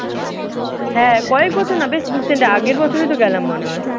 হ্যাঁ কয়েক বছর না বেশ recent আগের বছরইতো গেলাম মনে হয়।